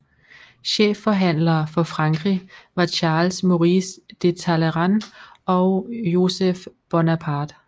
Chefforhandlere for Frankrig var Charles Maurice de Talleyrand og Joseph Bonaparte